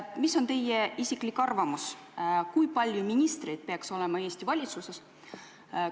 Mis on teie isiklik arvamus, kui palju ministreid peaks olema Eesti valitsuses?